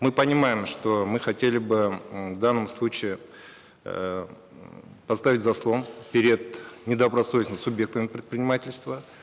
мы понимаем что мы хотели бы м в данном случае эээ м поставить заслон перед недобросовестными субъектами предпринимательства